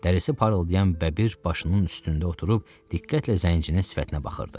Dərisi parıldayan Bəbir başının üstündə oturub diqqətlə zəncinin sifətinə baxırdı.